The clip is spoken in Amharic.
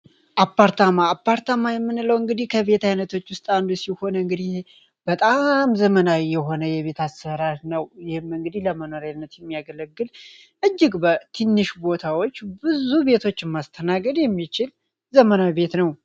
አፓርታማ የምንለው እንግዲህ አይነቶች ውስጥ አንዱ ሲሆን እንግዲ በጣም ዘመናዊ የሆነ የቤት አሰራር ነው እንግዲህ ለመኖር የምያገለግል እጅግ ትንሽ ቦታዎች ማስተናገድ የሚችል ዘመናዊ ቤት ነው።